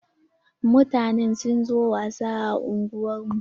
Mutanen sun zo wasa a unguwar mu.